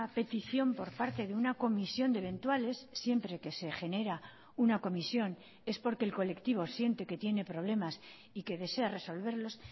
petición por parte de una comisión de eventuales siempre que se genera una comisión es porque el colectivo siente que tiene problemas y que desea resolverlos